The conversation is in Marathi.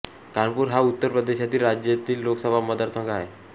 कानपूर हा उत्तर प्रदेश राज्यातील लोकसभा मतदारसंघ आहे